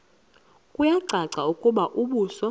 kuyacaca ukuba umbuso